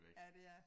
Ja det er